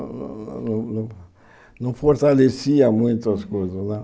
Não não não não fortalecia muito as coisas lá